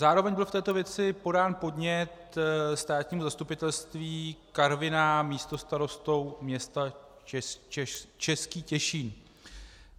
Zároveň byl v této věci podán podnět Státnímu zastupitelství Karviná místostarostou města Český Těšín.